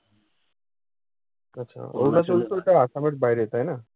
আচ্ছা অরুনাচল তো অইটা আসামের বাইরে, তাই না?